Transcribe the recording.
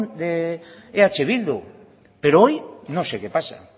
de eh bildu pero hoy no sé qué pasa